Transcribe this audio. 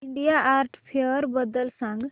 India art fair बद्दल सांग